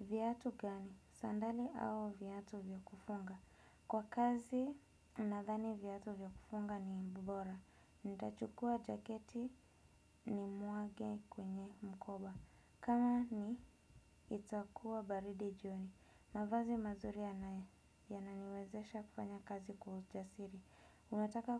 viatu gani, sandali au viatu vya kufunga. Kwa kazi nathani viatu vya kufunga ni bora. Nitachukua jaketi nimwage kwenye mkoba. Kama ni itakuwa baridi jioni. Mavazi mazuri yananiwezesha kufanya kazi kwa ujasiri. Unataka